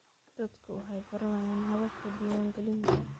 Dadku waxay baranayaan hababka diiwaangelinta.